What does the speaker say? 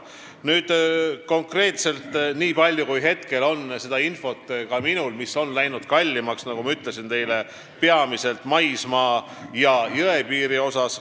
Konkreetselt, niipalju, kui minul praegu infot on, läks kallimaks, nagu ma ütlesin, peamiselt maismaa- ja jõepiiri ehitus.